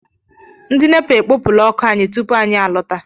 Ndị NEPA ekopula ọkụ anyị tupu anyị a lọta.